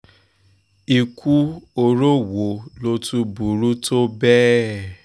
ikú oró wo ló tún burú tó bẹ́ẹ̀